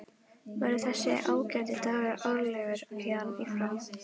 Verður þessi ágæti dagur árlegur héðan í frá?